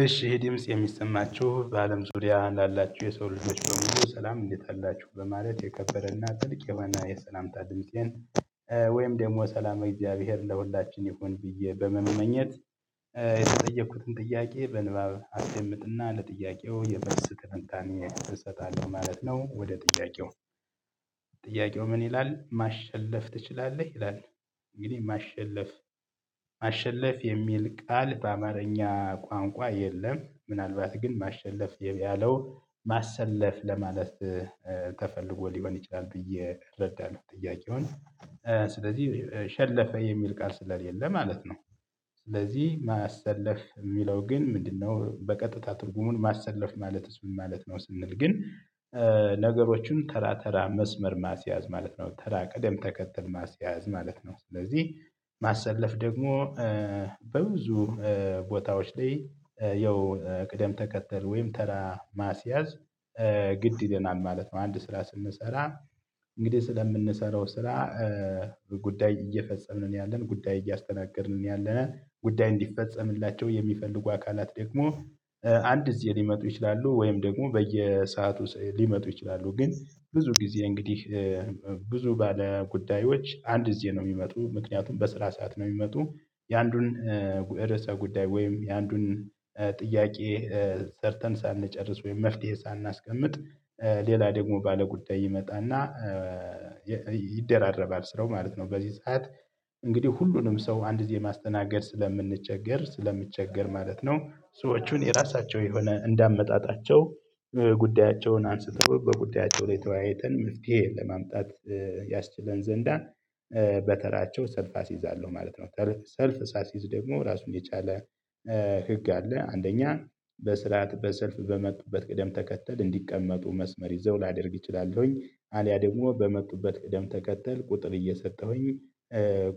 እሺ ይህ ድምጽ የሚሰማችሁ በአለም ዙሪያ ላላችሁ የሰው ልጆች በሙሉ ሰላም እንዴት አላችሁ? በማለት የከበረና ጥልቅ የሆነ የሰላምታ ድምፄን ወይም ደግሞ ሰላም ለእግዚአብሔር ለሁላችን ይሁን ብዬ በመመኘት የተጠየኩትን ጥያቄ በንባብ አስደምጥና ለጥያቄው የመልስ ትንታኔ እሰጣለሁ ማለት ነው። ወደ ጥያቄው። ጥያቄው ምን ይላል ማሸለፍ ትችላለህ? ይላል እንግዲህ ማሸለፍ ማሸለፍ የሚል ቃል በአማርኛ ቋንቋ የለም ምናልባት ግን ማሸለፍ ያለው ማሰለፍ ለማለት ተፈልጎ ሊሆን ይችላል ብዬ እረዳለሁ ጥያቄውን ስለዚህ ሸለፈ የሚል ቃል ስለሌለ ማለት ነው ስለዚህ ማሰለፍ የሚለው ግን ምንድነው በቀጥታ ትርጉሙን ማሰለፍ ማለትስ ምን ማለት ነው ስንል ግን ነገሮችን ተራ ተራ መስመር ማስያዝ ማለት ነው። ተራ ቀደም ተከትል ማስያዝ ማለት ነው። ስለዚህ ማሰለፍ ደግሞ በብዙ ቦታዎች ላይ ያው ቅደም ተከተል ወይም ተራ ማስያዝ ግድ ይለናል ማለት ነው። አንድ ስራ ስንሰራ እንግዲህ ስለምንሰራው ስራ ጉዳይ እየፈጸምን ነው ያለን። ጉዳይ እያስተናገድን ነው ያለነን። ጉዳይ እንዲፈጸምላቸው የሚፈልጉ አካላት ደግሞ አንድ ጊዜ ሊመጡ ይችላሉ ወይም ደግሞ በየሰአቱ ሊመጡ ይችላሉ። ግን ብዙ ጊዜ እንግዲህ ብዙ ባለ ጉዳዮች አንድ ጊዜ ነው የሚመጡት ምክንያቱም በስራ ሰዓት ነው የሚመጡት የአንዱን ርዕሰ ጉዳይ ወይም የአንዱን ጥያቄ ሰርተን ሳንጨርስ ወይም መፍትሄ ሳናስቀምጥ ሌላ ደግሞ ባለጉዳይ ይመጣና ይደራረባል ስራው ማለት ነው በዚህ ሰዓት። እንግዲህ ሁሉንም ሰው አንድ ጊዜ ማስተናገድ ስለምንቸገር ስለምቸገር ማለት ነው ሰዎቹን የራሳቸው የሆነ እንዳመጣጣቸው ጉዳያቸውን አንስተው በጉዳያቸው ላይ ተወያይተን መፍትሄ ለማምጣት ያስችለን ዘንድ በተራቸው ሰልፍ አስይዛለሁ ማለት ነው። ሰልፍ ሳስይዝ ደግሞ ራሱን የቻለ ህግ አለ። አንደኛ በስርዓት በሰልፍ በመጡበት ቅደም ተከተል እንዲቀመጡ መስመር ይዘው ላደርግ እችላለሁኝ አልያም ደግሞ በመጡበት ቅደም ተከተል ቁጥር እየሰጠሁኝ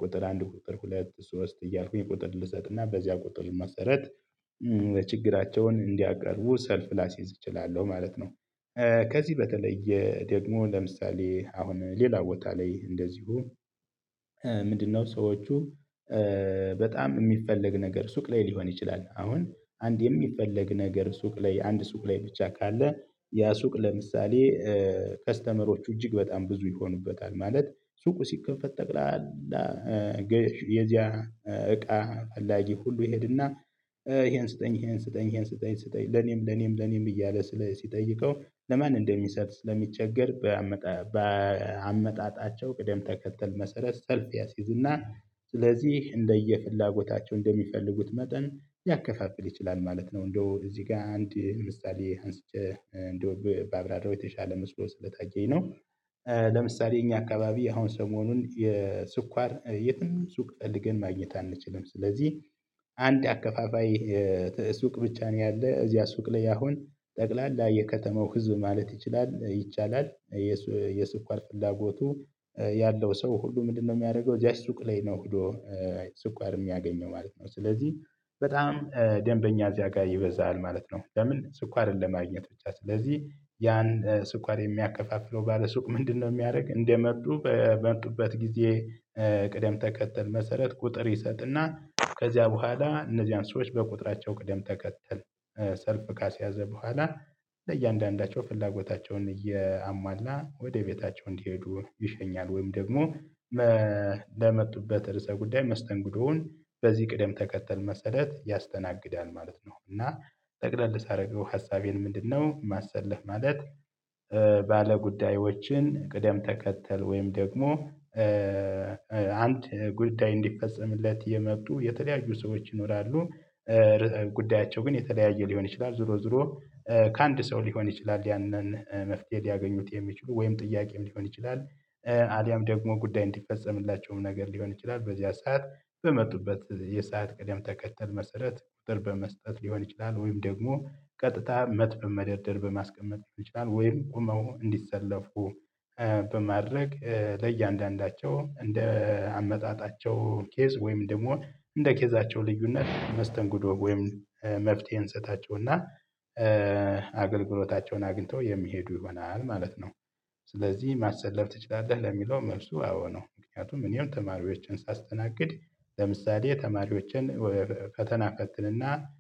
ቁጥር አንድ፣ ቁጥር ሁለት፣ ሶስት እያልኩኝ ቁጥር ልሰጥና በዚያ ቁጥር መሰረት ችግራቸውን እንዲያቀርቡ ሰልፍ ላስይዝ እችላለሁ ማለት ነው። ከዚህ በተለየ ደግሞ ለምሳሌ አሁን ሌላ ቦታ ላይ እንደዚሁ ምንድነው ሰዎቹ በጣም የሚፈለግ ነገር ሱቅ ላይ ሊሆን ይችላል አሁን አንድ የሚፈለግ ነገር ሱቅ ላይ አንድ ሱቅ ላይ ብቻ ካለ ያ ሱቅ ለምሳሌ ከስተመሮቹ እጅግ በጣም ብዙ ይሆኑበታል ማለት ሱቁ ሲከፈት ጠቅላላ የዚያ እቃ ፈላጊ ሁሉ ይሄድና ይሄን ስጠኝ ይሄን ስጠኝ ይሄን ስጠኝ ስጠኝ ለኔም ለኔም ለኔም እያለ ስለ ሲጠይቀው ለማን እንደሚሰጥ ስለሚቸገር በአመጣጣቸው ቅደም ተከተል መሰረት ሰልፍ ያስይዝና ስለዚህ እንደየፍላጎታቸው እንደሚፈልጉት መጠን ሊያከፋፍል ይችላል ማለት ነው። እንደው እዚህ ጋር አንድ ምሳሌ አንስቼ እንደው ባብራራው የተሻለ መስሎ ስለታየኝ ነው። ለምሳሌ እኛ አካባቢ አሁን ሰሞኑን የስኳር የትም ሱቅ ፈልግን ማግኘት አንችልም። ስለዚህ አንድ አከፋፋይ ሱቅ ብቻ ነው ያለ። እዚያ ሱቅ ላይ አሁን ጠቅላላ የከተማው ህዝብ ማለት ይችላል ይቻላል የስኳር ፍላጎቱ ያለው ሰው ሁሉ ምንድነው የሚያደርገው እዚያች ሱቅ ላይ ነው ሄዶ ስኳር የሚያገኘው ማለት ነው። ስለዚህ በጣም ደምበኛ እዚያ ጋር ይበዛል ማለት ነው። ለምን ስኳርን ለማግኘት ብቻ። ስለዚህ ያን ስኳር የሚያከፋፍለው ባለሱቅ ምንድነው የሚያደርግ እንደመጡ በመጡበት ጊዜ ቅደም ተከተል መሰረት ቁጥር ይሰጥና ከዚያ በኋላ እነዚያን ሰዎች በቁጥራቸው ቅደም ተከተል ሰልፍ ካስያዘ በኋላ ለእያንዳንዳቸው ፍላጎታቸውን እያሟላ ወደ ቤታቸው እንዲሄዱ ይሸኛል ወይም ደግሞ ለመጡበት ርዕሰ ጉዳይ መስተንግዶውን በዚህ ቅደም ተከተል መሰረት ያስተናግዳል ማለት ነው። እና ጠቅለል ሳደርገው ሀሳቤን ምንድነው ማሰለፍ ማለት ባለጉዳዮችን ቅደም ተከተል ወይም ደግሞ አንድ ጉዳይ እንዲፈጸምለት የመጡ የተለያዩ ሰዎች ይኖራሉ ጉዳያቸው ግን የተለያየ ሊሆን ይችላል ዞሮ ዞሮ ከአንድ ሰው ሊሆን ይችላል ያንን መፍትሄ ሊያገኙት የሚችሉ ወይም ጥያቄም ሊሆን ይችላል አልያም ደግሞ ጉዳይ እንዲፈጸምላቸውም ነገር ሊሆን ይችላል በዚያ ሰዓት በመጡበት የሰዓት ቀደም ተከተል መሰረት ቁጥር በመስጠት ሊሆን ይችላል ወይም ደግሞ ቀጥታ መት በመደርደር በማስቀመጥ ሊሆን ይችላል ወይም ቆመው እንዲሰለፉ በማድረግ ለእያንዳንዳቸው እንደ አመጣጣቸው ኬዝ ወይም ደግሞ እንደ ኬዛቸው ልዩነት መስተንግዶ ወይም መፍትሄ እንሰጣቸውና አገልግሎታቸውን አግኝተው የሚሄዱ ይሆናል ማለት ነው። ስለዚህ ማሰለፍ ትችላለህ? ለሚለው መልሱ አዎ ነው። ምክንያቱም እኔም ተማሪዎቼን ሳስተናግድ ለምሳሌ ተማሪዎቼን ፈተና እፈትንና